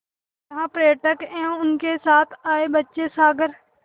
जहाँ पर्यटक एवं उनके साथ आए बच्चे सागर